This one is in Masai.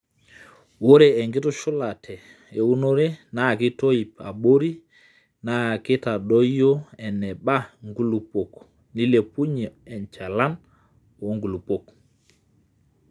ore enkitushulate eunore naa keitoip abori naa keitadoyio eneba inkulupuok neilepunye enchalan oo nkulupuok